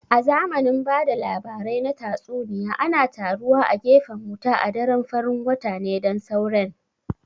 A zamanin ba da labarai na tatsuniya ana taruwa a gefen wuta a daren farin wata ne don sauren